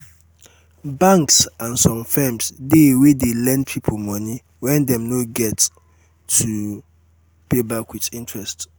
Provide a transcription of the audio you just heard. banks and some firms de wey de lend pipo moni wen dem no get to pay back with interest